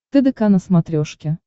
тдк на смотрешке